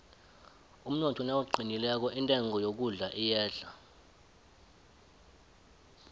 umnotho nawuqinileko intengo yokudla iyehla